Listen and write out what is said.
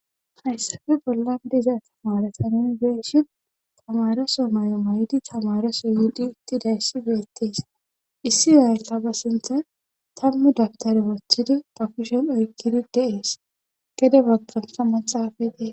Hayssafe bollan diza tamarata ninibenshiin tamaroso may'o may'di tamaroso yuudi ittidayssi beettees issi oyataba sintha tammu dabtari wothidi pofishen oykkidi deees gede baggantha maxaafa dee.